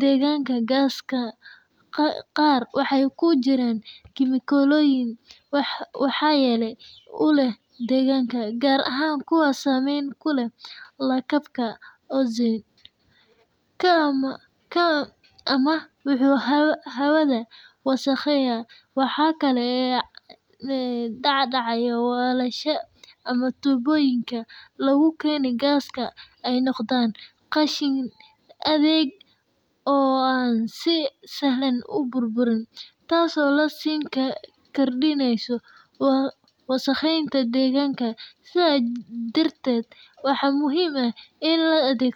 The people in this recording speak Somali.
deegaanka, gaasaska qaar waxay ku jiraan kiimikooyin waxyeello u leh deegaanka, gaar ahaan kuwa saamayn ku leh lakabka ozone-ka ama kuwa hawada wasakheeya. Waxa kale oo dhacda in weelasha ama tuubooyinka lagu keeno gaasku ay noqdaan qashin adag oo aan si sahlan u burburin, taas oo sii kordhinaysa wasakheynta deegaanka. Sidaas darteed, waxaa muhiim ah in la adeegsado.